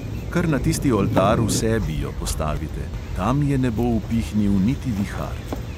Kar na tisti oltar v sebi jo postavite, tam je ne bo upihnil niti vihar.